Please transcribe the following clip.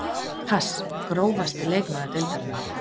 Pass Grófasti leikmaður deildarinnar?